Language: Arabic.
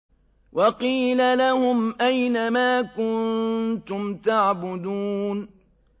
وَقِيلَ لَهُمْ أَيْنَ مَا كُنتُمْ تَعْبُدُونَ